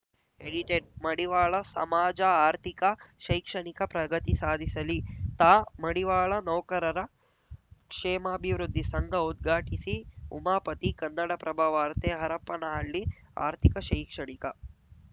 edited ಮಡಿವಾಳ ಸಮಾಜ ಆರ್ಥಿಕ ಶೈಕ್ಷಣಿಕ ಪ್ರಗತಿ ಸಾಧಿಸಲಿ ತಾ ಮಡಿವಾಳ ನೌಕರರ ಕ್ಷೇಮಾಭಿವೃದ್ಧಿ ಸಂಘ ಉದ್ಘಾಟಿಸಿ ಉಮಾಪತಿ ಕನ್ನಡಪ್ರಭ ವಾರ್ತೆ ಹರಪ್ಪನಹಳ್ಳಿ ಆರ್ಥಿಕ ಶೈಕ್ಷಣಿಕ